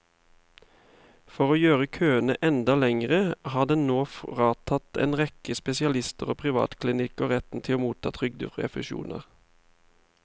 For å gjøre køene enda lengre har den nå fratatt en rekke spesialister og privatklinikker retten til å motta trygderefusjoner.